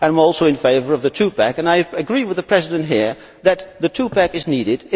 I am also in favour of the two pack and I agree with the President here that the two pack is needed.